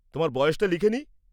তোমার বয়সটা লিখে নি।